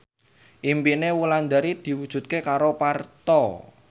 impine Wulandari diwujudke karo Parto